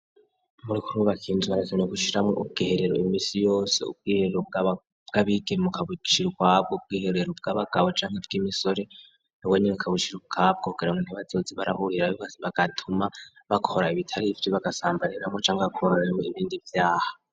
Bariko barubaka inzu birakenewe gushiramo ubwiherero imisi yose ubwiherero bwabigeme ukabushira ukwabwo ubwiherero bw'abagabo cangwa ubw'imisore nabwo nyene ukabushira kugira ntibazoze barahurira bose bagatuma bakora ibitari ifite bagasambaniramo canke bagakoreramo ibindi vyaha.